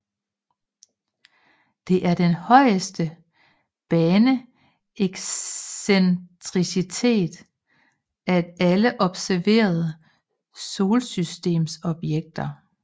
Det er den højeste baneexcentricitet af alle observerede Solsystemsobjekter